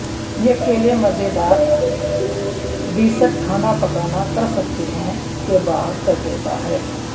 یہ کیلے مزیدار ڈیسرٹ کھانا پکانا کر سکتے ہیں کہ باہر کر دیتا ہے